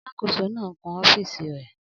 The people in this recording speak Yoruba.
Alàkóso náà ń kun ọ́fìsì rẹ̀